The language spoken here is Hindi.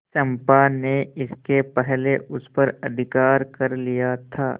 चंपा ने इसके पहले उस पर अधिकार कर लिया था